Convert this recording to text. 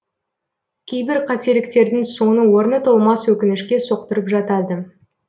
кейбір қателіктердің соңы орны толмас өкінішке соқтырып жатады